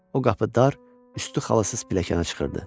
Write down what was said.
O qapı dar, üstü xalısız pilləkənə çıxırdı.